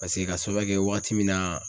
Paseke ka sababuya kɛ wagati min na